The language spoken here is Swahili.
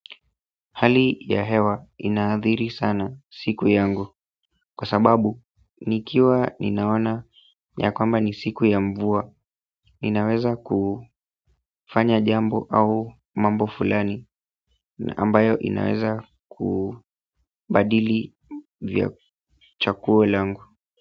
Hali ya hewa inaadhiri sana siku yangu kwa sababu nikiwa ninaona ya kwamba ni siku ya mvua ninaweza kufanya jambo au mambo fulani na ambayo inaweza kubadili vya chaguo langu.